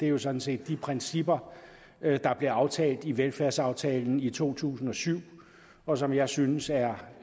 er sådan set de principper der blev aftalt i velfærdsaftalen i to tusind og syv og som jeg synes er